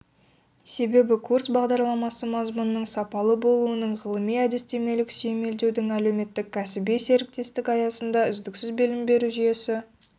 себебі курс бағдарламасы мазмұнының сапалы болуының ғылыми-әдістемелік сүйемелдеудің әлеуметтік-кәсіби серіктестік аясында үздіксіз білім беру жүйесі